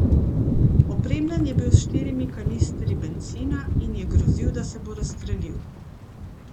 Opremljen je bil s štirimi kanistri bencina in je grozil, da se bo razstrelil.